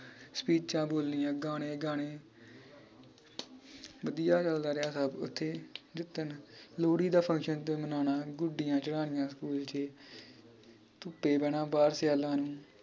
ਸਪੀਚਾਂ ਬੋਲਣੀਆਂ ਗਾਣੇ ਗਾਨੇ ਵਧੀਆ ਚਲਦਾ ਰਿਹਾ ਸਬ ਓਥੇ ਜਿਦਣ ਲੋੜੀ ਦਾ function ਮਨਾਉਣਾ ਗੁੱਡੀਆਂ ਚੜ੍ਹਾਉਣੀਆਂ ਸਕੂਲ ਚ ਧੁੱਪੇ ਬਹਿਣਾ ਬਾਹਰ ਸਿਆਲਾਂ ਨੂੰ।